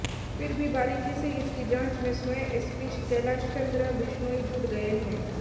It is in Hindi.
फिर भी बारिकी से इसकी जांच में स्वयं एसपी कैलाशचन्द्र बिश्नोई जुट गए हैं